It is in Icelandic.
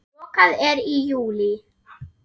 Lokað er í júlí.